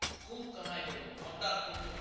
খুব কামাই করবো কাটা কটুক